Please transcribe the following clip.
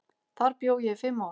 Þar bjó ég í fimm ár.